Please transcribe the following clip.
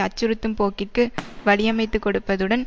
அச்சுறுத்தும் போக்கிற்கு வழியமைத்துக்கொடுப்பதுடன்